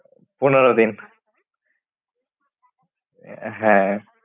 পনেরো দিন। হ্যাঁ।